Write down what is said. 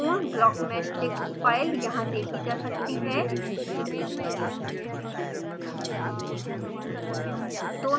पूर्ण blockmeshdict file यहाँ देखी जा सकती है